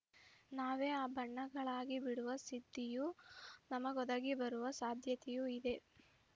ನಾವೇ ಆ ಬಣ್ಣಗಳಾಗಿಬಿಡುವ ಸಿದ್ಧಿಯು ನಮಗೊದಗಿಬರುವ ಸಾಧ್ಯತೆಯೂ ಇದೆ